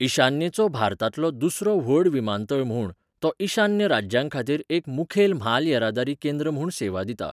ईशान्येचो भारतांतलो दुसरो व्हड विमानतळ म्हूण, तो ईशान्य राज्यांखातीर एक मुखेल म्हाल येरादारी केंद्र म्हूण सेवा दिता.